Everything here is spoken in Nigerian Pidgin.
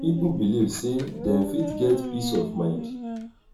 pipo belive sey dem fit get peace of mind